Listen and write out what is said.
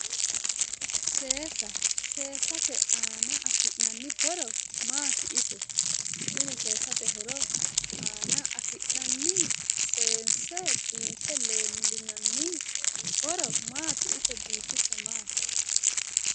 Seesa seesate aana afi'nanni horo maati ise tini seesate Horo aana afi'nanni Seenise biinife leelinanni Horo maati ise biifisa maati?